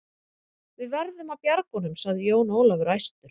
Við verðum að bjarga honum, sagði Jón Ólafur æstur.